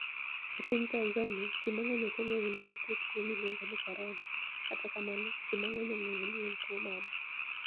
E piniy Tanizaniia, ji manig'eniy ok onig'eyo nii niitie tuo miluonigo nii koronia, kata kamano, ji manig'eniy onig'eyo nii eni tuwo mani e.